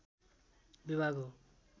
विभाग हो